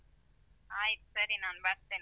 ಆಯ್ತು ಸರಿ ನಾನ್ ಬರ್ತೇನೆ.